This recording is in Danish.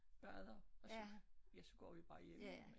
Bader og så ja så går vi bare hjem